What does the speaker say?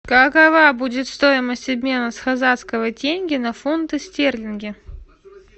какова будет стоимость обмена с казахского тенге на фунты стерлинги